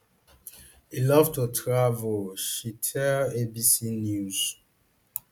e love to travel she tell abc news